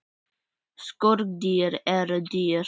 Skordýr eru dýr.